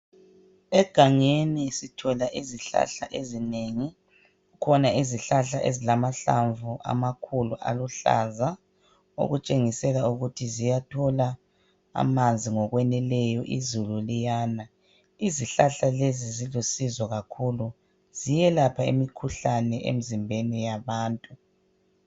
Egangeni sithola izihlahla ezinengi. Zikhona izihlahla ezilamahlamvu amakhulu aluhlaza okutshengisela ukuthi ziyathola amanzi ngokweneleyo izulu liyana. Izihlahla lezi zilusizo kakhulu. Ziyelapha imkhuhlane emizimbeni yabantu.